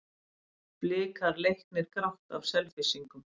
Blikar leiknir grátt af Selfyssingum